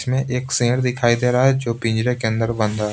इसमें एक सेर दिखाई दे रहा है जो पिंजरे के अंदर बंद है।